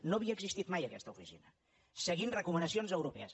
no havia existit mai aquesta oficina seguint recomanacions europees